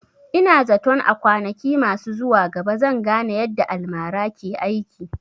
Ina zaton a kwanaki masu zuwa gaba zan gane yadda almara ke aiki